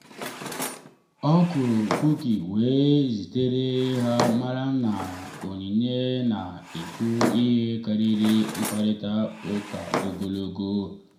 ọ kụrụ kuki wee zitere ha mara na onyinye na-ekwu ihe karịrị mkparịta ụka ogologo.